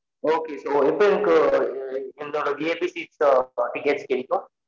Okay so எப்பொ எனக்கு like இதுதொட VIP seat tickets கிடைகும்